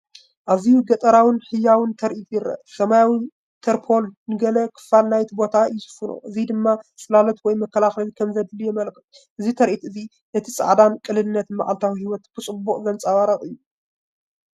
ኣዝዩ ገጠራውን ህያውን ትርኢት ይረአ፣! ሰማያዊ ተርፖሊን ንገለ ክፋል ናይቲ ቦታ ይሽፍኖ፣ እዚ ድማ ጽላሎት ወይ መከላኸሊ ከምዘድሊ የመልክት። እዚ ትርኢት እዚ ነቲ ጻዕርን ቅልልነትን መዓልታዊ ህይወት ብጽቡቕ ዘንጸባርቕ እዩ!